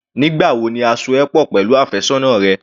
Nígbà wo ni a so ẹ pọ̀ pẹ̀lú àfẹ́sọ́nà rẹ?